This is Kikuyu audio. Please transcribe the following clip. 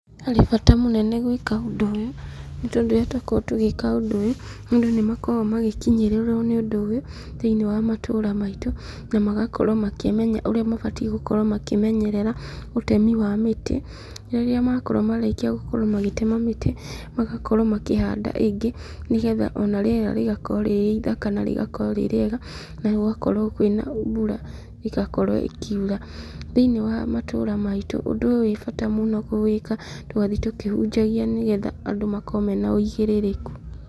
Harĩ bata mũnene gwĩka ũndũ ũyũ, nĩ tondũ rĩrĩa tũkoragwo tũgĩka ũndũ ũyũ, andũ nĩ makoragwo magĩkinyĩrĩrwo nĩ ũndũ ũyũ, thĩinĩ wa matũra maitũ, na magakorwo makĩmenya ũrĩa mabatie gũkorwo makĩmenyerera ũtemi wa mĩtĩ, rĩrĩa makorwa marĩkia gũkorwo magĩtema mĩtĩ, magakorwo makĩhanda ĩngĩ, nĩgetha ona rĩera rĩgakorwo rĩrĩ ithaka na rĩgakorwo rĩ rĩega, na gũgakorwo kwĩna mbura igakorwo ĩkiura, thĩinĩ wa matũra maitũ, ũndũ ũyũ wĩ bata mũno kũwĩka, tũgathiĩ tũkĩhunjagia nĩgetha andũ makorwo mena ũigĩrĩrĩku.